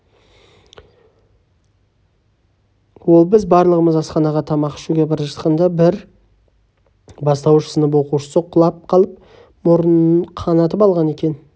ол біз барлығымыз асханаға тамақ ішуге бара жатқанда бір бастауыш сынып оқушысы құлап қалып мұрнын қанатып алған екен